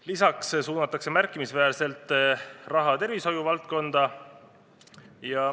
Lisaks suunatakse märkimisväärselt raha tervishoiuvaldkonda.